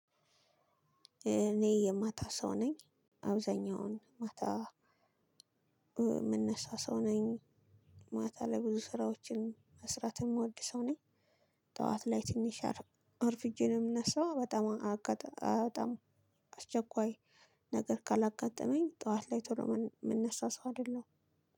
እኔ የማታ ሰው ነኝ። አብዛኛውን ማታ የምነሳ ሰው ነኝ። ማታ ላይ ብዙ ስራዎችን መስራት የምወድ ሰው ነኝ። ጠዋት ላይ ትንሽ አርፍጄ ነው የምነሳው። በጣም አስቸኳይ ነገር ካላጋጠመኝ ጠዋት ላይ ቶሎ የምነሳ ሰው አይደለሁም